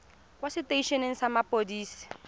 kwa setei eneng sa mapodisi